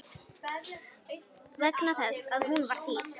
Vegna þess að hún var þýsk.